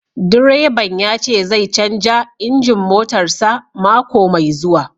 Direban ya ce zai canza injin motarsa ​​mako mai zuwa